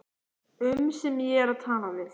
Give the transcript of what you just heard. um sem ég er að tala við.